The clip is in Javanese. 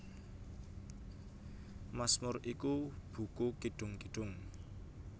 Masmur iku buku kidung kidung